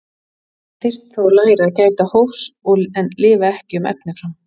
Hann þyrfti þó að læra að gæta hófs og lifa ekki um efni fram.